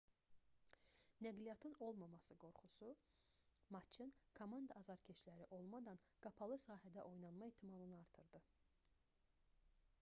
nəqliyyatın olmaması qorxusu matçın komanda azarkeşləri olmadan qapalı sahədə oynanma ehtimalını artırdı